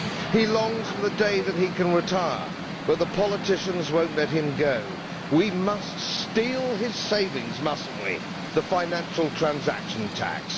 He longs for the day that he can retire, but the politicians will not let him go. We must steal his savings, must we not, through the financial transaction tax?